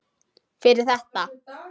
Fyrir þetta.